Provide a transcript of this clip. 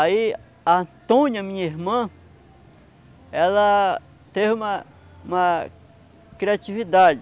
Aí a Antônia, minha irmã, ela teve uma uma criatividade.